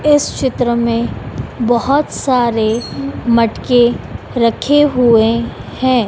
इस चित्र में बहुत सारे मटके रखे हुए हैं।